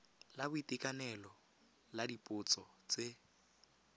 la boitekanelo la dipotso tse